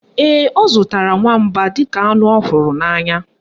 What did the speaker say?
Ee, ọ zụtara nwamba dịka anụ ọ hụrụ n'anya